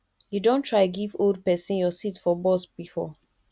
you don try give old pesin your seat for bus before